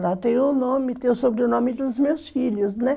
Ela tem o nome, tem sobrenome dos meus filhos, né?